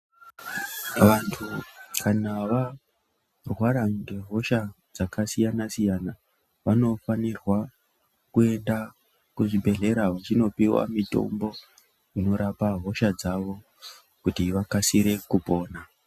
Vantu kana varwara ngehosha dzakasiyanasiya vanofanira kuenda kuchibhedhlera uchindopiwa mitombo inorape hosha dzawo vakasire kupona.